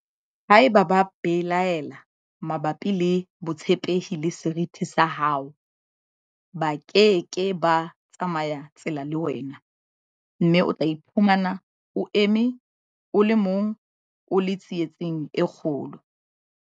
Haeba ba belaela mabapi le botshepehi le seriti sa hao, ba ke ke ba tsamaya tsela le wena, mme o tla iphumana o eme o le mong, o le tsietsing e kgolo.